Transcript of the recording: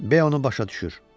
B onu başa düşür.